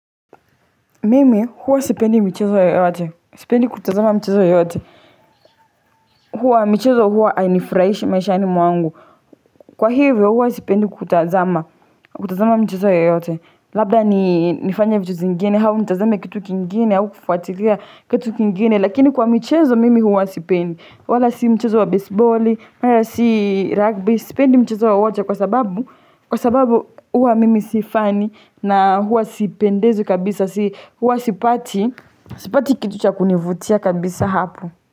Mimi huwa sipendi michezo yoyote, sipendi kutazama michezo yoyote, huwa, michezo huwa hainifurahishi maishani mwangu, kwa hivyo huwa sipendi kutazama michezo yoyote, labda ni nifanye vitu zingine, au nitazame kitu kingine, au kufuatilia kitu kingine, lakini kwa michezo mimi huwa sipendi, wala si mchezo wa besiboli wala si rugby, sipendi mchezo wowote kwa sababu, kwa sababu huwa mimi si fani, na huwa sipendezwi kabisa, huwa sipati, sipati kitu cha kunivutia kabisa hapo.